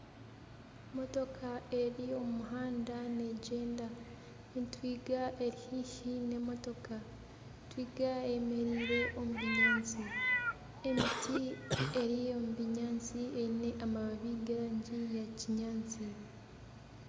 Motoka eri omu muhanda neegyenda. Entwiga eri haihi n'emotoka. Entwiga eyemereire omu binyaatsi. Emiti eri omu binyaatsi eine amababi g'erangi ya kinyaatsi.